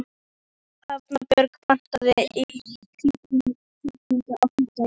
Hafbjörg, pantaðu tíma í klippingu á fimmtudaginn.